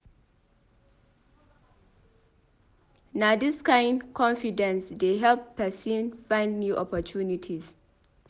Na dis kain confidence dey help pesin find new opportunities.